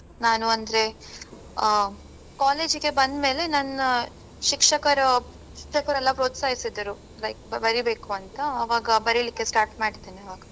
ನಾನು ಅಂದ್ರೇ ಆ college ಇಗೆ ಬಂದ್ ಮೇಲೆ ನನ್ನ ಶಿಕ್ಷಕರು ಶಿಕ್ಷಕರೆಲ್ಲಾ ಪ್ರೋತ್ಸಹಿಸಿದರು like ಬರಿಬೇಕು ಅಂತ ಆವಾಗ ಬರಿಲಿಕ್ಕೆ start ಮಾಡಿದ್ದೇನೆ ಆವಾಗ.